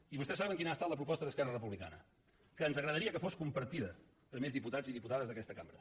i vostès saben quina ha estat la proposta d’esquerra republicana que ens agradaria que fos compartida per més diputats i diputades d’aquesta cambra